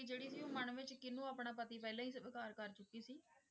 ਜਿਹੜੀ ਸੀ ਉਹ ਮਨ ਵਿੱਚ ਕਿਹਨੂੰ ਆਪਣਾ ਪਤੀ ਪਹਿਲਾਂ ਹੀ ਸਵੀਕਾਰ ਕਰ ਚੁੱਕੀ ਸੀ?